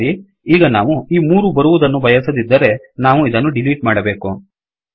ಸರಿ ಈಗ ನಾವು ಈ ಮೂರು ಬರುವದನ್ನು ಬಯಸದಿದ್ದರೆ ನಾವು ಇದನ್ನು ಡಿಲೀಟ್ ಮಾಡಬೇಕು